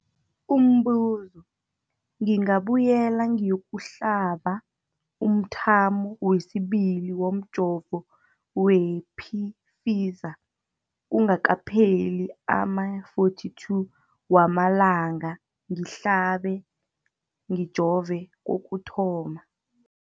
Umbuzo, ngingabuyela ngiyokuhlaba umthamo wesibili womjovo we-Pfizer kungakapheli ama-42 wamalanga ngihlabe, ngijove kokuthoma.